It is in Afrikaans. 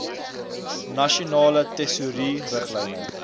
nasionale tesourie riglyne